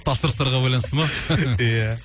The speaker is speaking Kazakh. тапсырыстарға байланысты ма иә